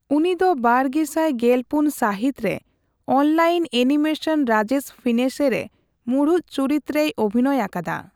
ᱩᱱᱤ ᱫᱚ ᱵᱟᱨᱜᱮᱥᱟᱭ ᱜᱮᱞᱯᱩᱱ ᱥᱟᱹᱦᱤᱛ ᱨᱮ ᱚᱱᱞᱟᱭᱤᱱ ᱮᱱᱤᱢᱮᱥᱚᱱ ᱨᱟᱡᱮᱥ ᱯᱷᱤᱱᱮᱥᱮ ᱨᱮ ᱢᱩᱬᱩᱛ ᱪᱩᱨᱤᱛ ᱨᱮᱭ ᱚᱵᱷᱤᱱᱚᱭ ᱟᱠᱟᱫᱟ ᱾